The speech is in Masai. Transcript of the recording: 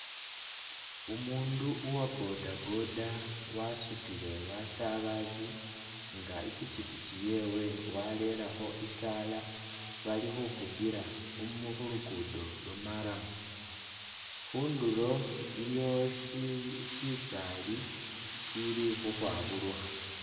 Umundu uwa bodaboda wasutile basabazi nga i'pikipiki yewe walelekho i'taala bali khufugila khumu khulugudo lwa marram. Khundulo iliwo syi syisaali syili khukhwaburukha.